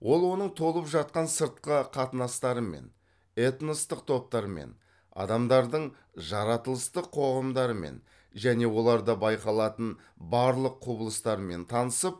ол оның толып жатқан сыртқы қатынастарымен этностық топтармен адамдардың жаратылыстық қоғамдарымен және оларда байқалатын барлық құбылыстармен танысып